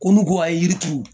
Ko n'u ko a ye yiri turu